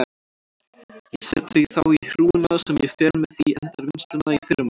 Ég set þau þá í hrúguna sem ég fer með í endurvinnsluna í fyrramálið.